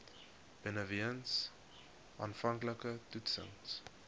benewens aanvanklike toetsings